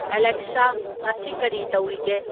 Alexa ꯉꯥꯁꯤ ꯀꯔꯤ ꯇꯧꯔꯤꯒꯦ